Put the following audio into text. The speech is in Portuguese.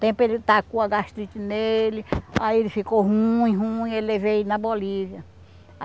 Tempo ele tacou a gastrite nele, aí ele ficou ruim, ruim, eu levei ele na Bolívia.